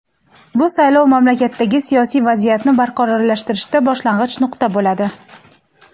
bu saylov mamlakatdagi siyosiy vaziyatni barqarorlashtirishda boshlang‘ich nuqta bo‘ladi.